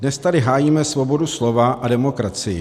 Dnes tady hájíme svobodu slova a demokracii.